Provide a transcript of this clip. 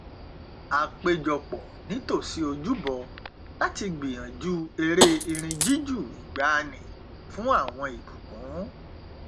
a péjọ pọ nítòsí ojúbọ láti gbìyànjú eré irin jújù ìgbaanì fún àwọn ìbùkún